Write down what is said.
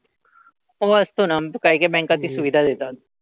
हो असतो ना. काही काही banks ती सुविधा देतात.